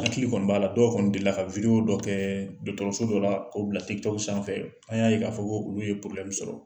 Hakili kɔni b'a la dɔw kɔni delila ka dɔ kɛɛ dɔgɔtɔrɔso dɔ la k'o bila sanfɛ an' y'a ye k'a fɔ ko olu ye sɔrɔ.